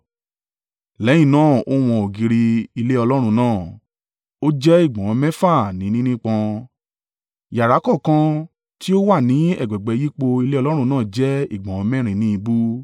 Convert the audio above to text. Lẹ́yìn náà ó wọn ògiri ilé Ọlọ́run náà; ó jẹ́ ìgbọ̀nwọ́ mẹ́fà ní nínípọn, yàrá kọ̀ọ̀kan tí ó wà ní ẹ̀gbẹ̀gbẹ́ yípo ilé Ọlọ́run náà jẹ́ ìgbọ̀nwọ́ mẹ́rin ní ìbú.